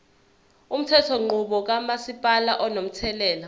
umthethonqubo kamasipala unomthelela